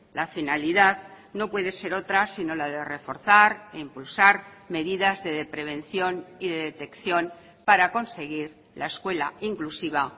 la finalidad no puede ser otra sino la de reforzar e impulsar medidas de prevención y de detección para conseguir la escuela inclusiva